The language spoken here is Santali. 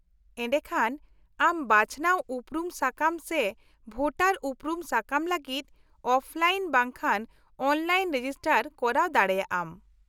-ᱮᱰᱮᱠᱷᱟᱱ, ᱟᱢ ᱵᱟᱪᱷᱱᱟᱣ ᱩᱯᱨᱩᱢ ᱥᱟᱠᱟᱢ ᱥᱮ ᱵᱷᱳᱴᱟᱨ ᱩᱯᱨᱩᱢ ᱥᱟᱠᱟᱢ ᱞᱟᱹᱜᱤᱫ ᱚᱯᱷᱞᱟᱭᱤᱱ ᱵᱟᱝᱠᱷᱟᱱ ᱚᱱᱞᱟᱭᱤᱱ ᱨᱮᱡᱤᱥᱴᱟᱨ ᱠᱚᱨᱟᱣ ᱫᱟᱲᱮᱭᱟᱜ ᱟᱢ ᱾